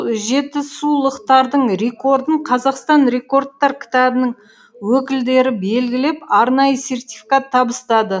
жетісулықтардың рекордын қазақстан рекордтар кітабының өкілдері белгілеп арнайы сертификат табыстады